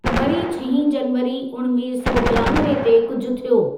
वरी छहीं जनवरी उणिवीह सौ ॿियानवे ते कुझु थियो।